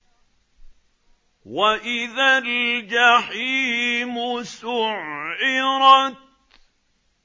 وَإِذَا الْجَحِيمُ سُعِّرَتْ